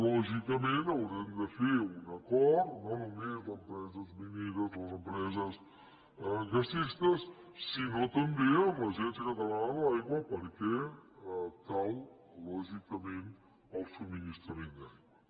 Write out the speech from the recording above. lògicament haurem de fer un acord no només les empreses mineres les empreses gasistes sinó també amb l’agència catalana de l’aigua perquè cal lògicament el subministrament d’aigua